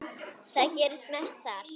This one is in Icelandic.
Það gerist mest þar.